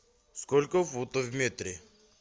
сколько футов в метре